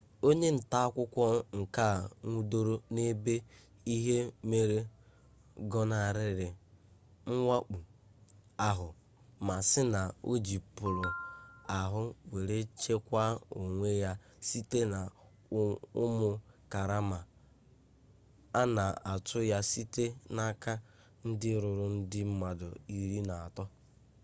onye nta akụkọ nke a nwụdoro n'ebe ihe mere gọnarịrị mwakpọ ahụ ma sị na o ji polu ahụ were chekwaa onwe ya site na ụmụ karama a na-atụ ya site n'aka ndị ruru ndị mmadụ iri na atọ